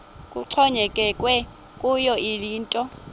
kuxhonyekekwe kuyo yinto